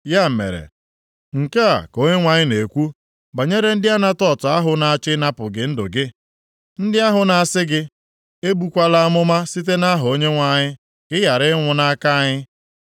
Ya mere, nke a ka Onyenwe anyị na-ekwu banyere ndị Anatot ahụ na-achọ ịnapụ gị ndụ gị, ndị ahụ na-asị gị, “Ebukwala amụma site nʼaha Onyenwe anyị ka ị ghara ịnwụ nʼaka anyị.”